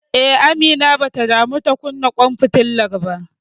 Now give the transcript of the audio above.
Eh, Amina bata damu ta kunna ƙwan fitilar ba.